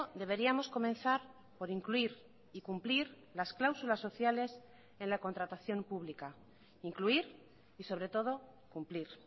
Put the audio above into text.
deberíamos comenzar por incluir y cumplir las cláusulas sociales en la contratación pública incluir y sobre todo cumplir